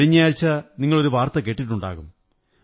കഴിഞ്ഞയാഴ്ച നിങ്ങളൊരു വാര്ത്തി കേട്ടിട്ടുണ്ടാകും